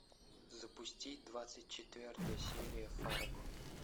запусти двадцать четвертая серия фарго